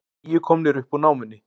Níu komnir upp úr námunni